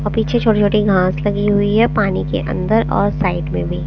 और पीछे छोटी-छोटी घास भी लगी हुई है पानी के अन्दर और साईड में भी --